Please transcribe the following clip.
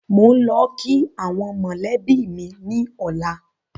Mò ń lọ kii àwọn mọ́lẹ̀bi mi ni ọ̀la